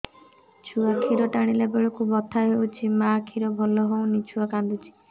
ଛୁଆ ଖିର ଟାଣିଲା ବେଳକୁ ବଥା ଲାଗୁଚି ମା ଖିର ଭଲ ହଉନି ଛୁଆ କାନ୍ଦୁଚି